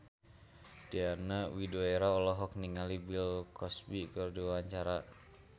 Diana Widoera olohok ningali Bill Cosby keur diwawancara